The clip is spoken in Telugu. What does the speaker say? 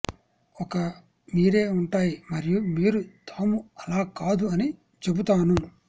ఒక మీరే ఉంటాయి మరియు మీరు తాము అలా కాదు అని చెబుతాను